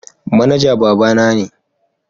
Manaja babana ne.